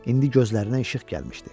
İndi gözlərinə işıq gəlmişdi.